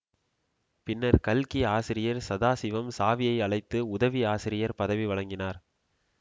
பின்னர் கல்கி ஆசிரியர் சதாசிவம் சாவியை அழைத்து உதவி ஆசிரியர் பதவி வழங்கினார்